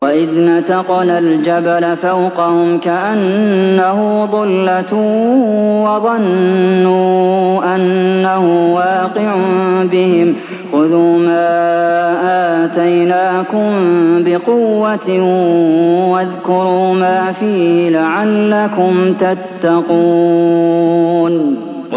۞ وَإِذْ نَتَقْنَا الْجَبَلَ فَوْقَهُمْ كَأَنَّهُ ظُلَّةٌ وَظَنُّوا أَنَّهُ وَاقِعٌ بِهِمْ خُذُوا مَا آتَيْنَاكُم بِقُوَّةٍ وَاذْكُرُوا مَا فِيهِ لَعَلَّكُمْ تَتَّقُونَ